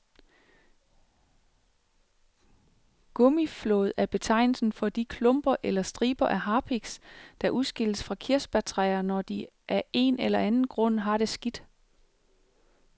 Gummiflåd er betegnelsen for de klumper eller striber af harpiks, der udskilles fra kirsebærtræer, når de af en eller anden grund har det skidt.